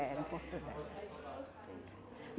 Era, em Porto Velho.